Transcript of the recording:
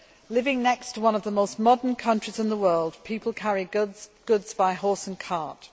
Living next to one of the most modern countries in the world, people carry goods by horse and cart.